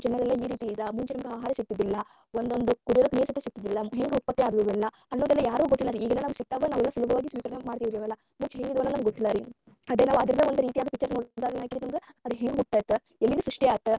ಈ ರೀತಿ ಇದ್ರ ಮುಂಚೆ ನೋಡುವಾಗ ಆಹಾರ ಸಿಗತಿದ್ದಿಲ್ಲ ಒಂದೊಂದು ಕುಡಿಯೋಕ ನೀರ ಸಿಗ್ತಿದಿಲ್ಲಾ ಹೆಂಗ ಉತ್ಪತ್ತಿ ಅದ್ವ ಇವೆಲ್ಲಾ ಅನ್ನೋದೆಲ್ಲಾ ಯಾರಿಗೂ ಗೊತ್ತಿಲರೀ ಈಗೆಲ್ಲಾ ನಮಗ ಸಿಗ್ತಾವ ನಾವೆಲ್ಲಾ ಸುಲಭವಾಗಿ ಸ್ವೀಕರಣೆ ಮಾಡ್ತೀವೆಲ್ಲಾ ಮುಂಚೆ ಹೆಂಗಿದ್ವು ಗೊತ್ತಿಲ್ಲಾ ಅದೇ ನಾವ ಆದರದ ಒಂದ ರೀತಿ picture ನೋಡ್ದಗಯೆನಾಗ್ತೇತಿ ನಮಗ ಅದ ಹೆಂಗ ಹುಟ್ಟೆತಿ ಎಲ್ಲಿಂದ ಸೃಷ್ಟಿ ಆತ.